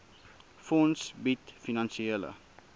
fonds bied finansiële